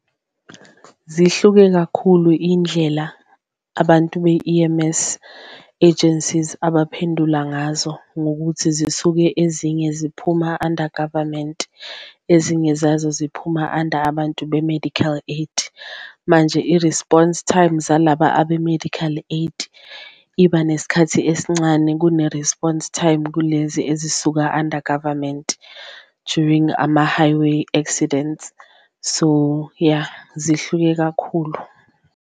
Zihluke kakhulu iy'ndlela abantu be-E_M_S agencies abaphendula ngazo ngokuthi zisuke ezinye ziphuma under government, ezinye zazo ziphuma under abantu bama-medical aid. Manje i-response time zalaba abe-medical aid iba nesikhathi esincane kune-response time kulezi ezisuka under government during ama-highway accidents so, ya zihluke kakhulu.